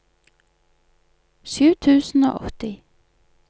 sju tusen og åtti